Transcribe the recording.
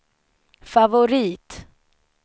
favorit